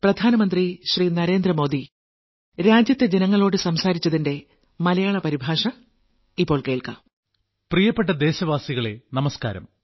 പ്രിയപ്പെട്ട ദേശവാസികളെ നമസ്ക്കാരം